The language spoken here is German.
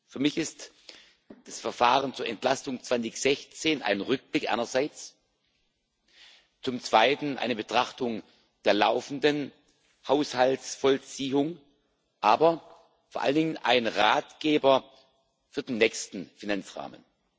Für mich ist das Verfahren zur Entlastung 2016 einerseits ein Rückblick, zum Zweiten eine Betrachtung der laufenden Haushaltsvollziehung, aber vor allen Dingen ein Ratgeber für den nächsten Finanzrahmen.